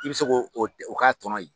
I bɛ se ko o k'a tɔnɔ yen.